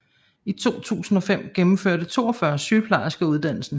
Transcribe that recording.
I 2005 gennemførte 42 sygeplejersker uddannelsen